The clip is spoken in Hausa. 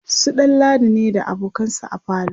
su ɗanladi ne da abokansa a falo